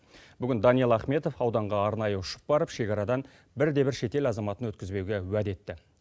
бүгін даниал ахметов ауданға арнайы ұшып барып шекарадан бір де бір шетел азаматын өткізбеуге уәде етті